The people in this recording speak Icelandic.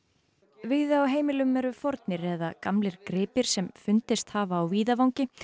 víða á heimilum eru fornir eða gamlir gripir sem fundist hafa á víðavangi